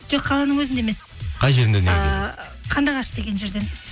жоқ қаланың өзінде емес і қандыағаш деген жерден